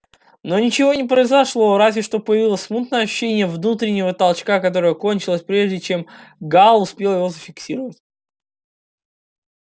но ничего не произошло разве что появилось смутное ощущение внутреннего толчка который кончился прежде чем гаал успел его зафиксировать